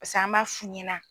pase an b'a f'u ɲɛna